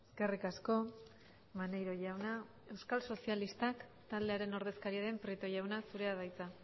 eskerrik asko maneiro jauna euskal sozialistak taldearen ordezkaria den prieto jauna zurea da hitza